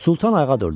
Sultan ayağa durdu.